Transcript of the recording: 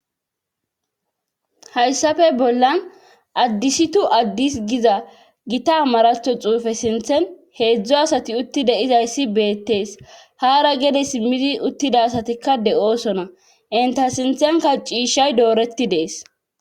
Hayssafe bollan addisitu addis giza gita maratho xuufe sinthen heedzdzo asati utti deizayssi beettees haara gede simmidi uttida satikka de7oosona enta sinthenka ciishay dooretti dees.